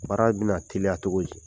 Baara bɛna teliya cogo di